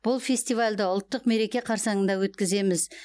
бұл фестивальді ұлттық мереке қарсаңында өткіземіз